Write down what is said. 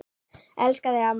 Elska þig, amma.